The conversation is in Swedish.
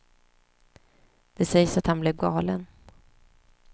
Det sägs att han blev galen.